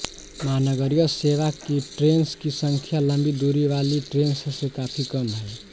महानगरीय सेवा की ट्रेन्स की संख्या लंबी दूरी वाली ट्रेन्स से काफ़ी कम है